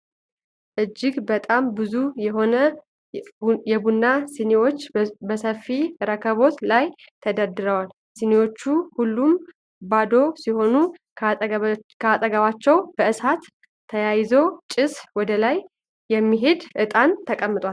እጅግ በጣም ብዙ የሆኑ የቡና ሲኒዎች በሰፊ ረከቦት ላይ ተደርድረዋል። ሲኒዎቹ ሁሉም ባዶ ሲሆኑ ከአጠገባቸው በእሳት ተያይዞ ጭሱ ወደላይ የሚሄድ እጣን ተቀምጧል።